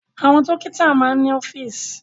Àwọn dọ́kítá máa ń ní ọ́fíísì.